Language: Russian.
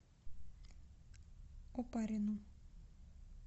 опарину